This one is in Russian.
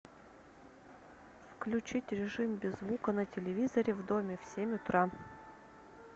включить режим без звука на телевизоре в доме в семь утра